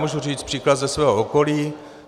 Můžu říct příklad ze svého okolí.